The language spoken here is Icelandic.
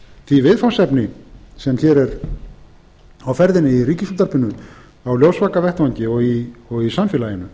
því viðfangsefni sem hér er á ferðinni í ríkisútvarpinu á ljósvakavettvangi og í samfélaginu